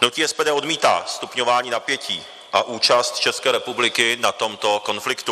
Hnutí SPD odmítá stupňování napětí a účast České republiky na tomto konfliktu.